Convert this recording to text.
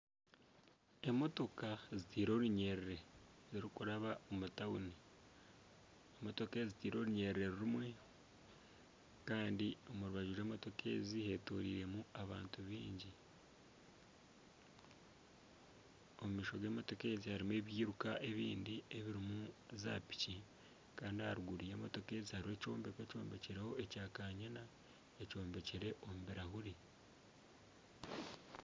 Emotoka ziteire orunyiriri zirikuraba omu tawuni. Motoka ezi ziteire orunyiri rumwe. Kandi omu rubaju rw'emotoka ezi hetoroiremu abantu baingi. Omu maisho g'emotoka ezi harimu ebiruka ebindi ebirimu zaapiki. Kandi aha ruguru y'emotoka ezi hariho ekyombeko ekyombekireho ekya kanyina ekyombekire omu birahuri.